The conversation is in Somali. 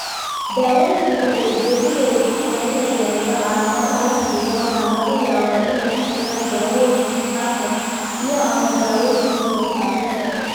Daaweyntu waxay ujeedadeedu tahay in la yareeyo calaamadaha la xidhiidha waxaana laga yaabaa inay ku jiraan daawooyinka qaarkood iyo/ama daaweynta sawir-qaadista.